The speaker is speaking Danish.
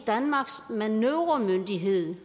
danmarks manøvremyndighed